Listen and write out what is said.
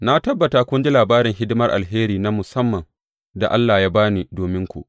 Na tabbata kun ji labarin hidimar alheri na musamman da Allah ya ba ni dominku.